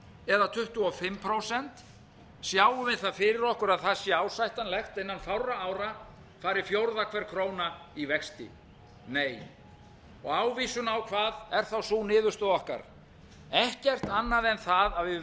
eða tuttugu og fimm prósent sjáum við það fyrir okkur að það sé ásættanlegt innan fárra ára fari fjórða hver króna í vexti nei og ávísun á hvað er þá sú niðurstaða okkar ekkert annað en það að við